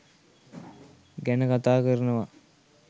ගැන කතා කරනවා.